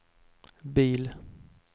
bil